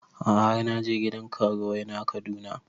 A'a har na je gidan karuwai na Kaduna